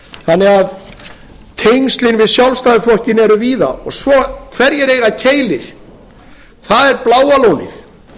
þannig að tengslin við sjálfstæðisflokkinn eru víða og hverjir eiga keili það er bláa lónið og